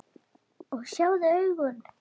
Og sjáðu augun!